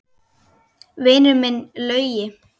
Vinur minn Laugi!